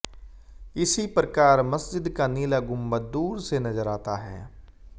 इसी प्रकार मस्जिद का नीला गुंबद दूर से नज़र आता है